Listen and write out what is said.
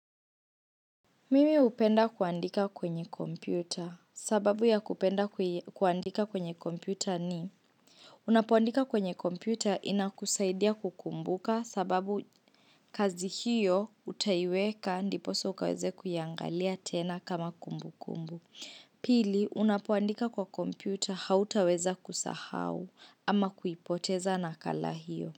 Mimi upenda kuandika kwenye kompyuta sababu ya kupenda kuandika kwenye kompyuta ni Unapoandika kwenye kompyuta inakusaidia kukumbuka sababu kazi hiyo utaiweka ndiposa ukaweze kuyangalia tena kama kumbu kumbu Pili unapoandika kwa kompyuta hautaweza kusahau ama kuipoteza nakala hiyo.